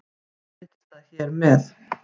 Leiðréttist það hér með